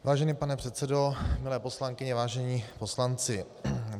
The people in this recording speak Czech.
Vážený pane předsedo, milé poslankyně, vážení poslanci.